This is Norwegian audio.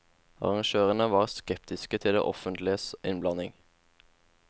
Arrangørene var skeptiske til det offentliges innblanding.